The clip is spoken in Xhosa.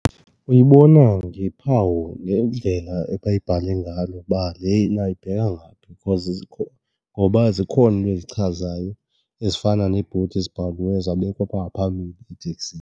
Uyibona ngephawu nendlela abayibhale ngayo ukuba lena ibheka ngaphi because , ngoba zikhona iinto ezichazayo ezifana neebhodi ezibhaliweyo zabekwa apha ngaphambili eteksini.